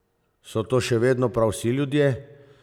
So to še vedno prav vsi ljudje?